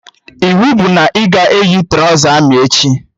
Iwu bụ na ị ga-eyi trọza amị echi!